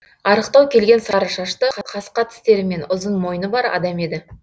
арықтау келген сары шашты қасқа тістері мен ұзын мойны бар адам еді